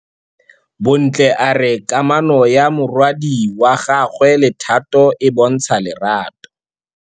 Bontle a re kamanô ya morwadi wa gagwe le Thato e bontsha lerato.